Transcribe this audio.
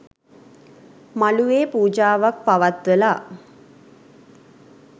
මළුවේ පූජාවක් පවත්වලා